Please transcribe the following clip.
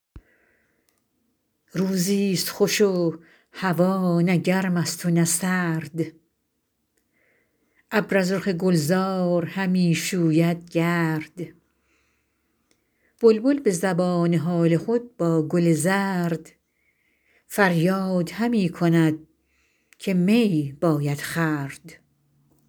روزی ست خوش و هوا نه گرم است و نه سرد ابر از رخ گلزار همی شوید گرد بلبل به زبان حال خود با گل زرد فریاد همی کند که می باید خورد